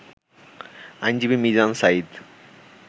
আইনজীবী মিজান সাঈদ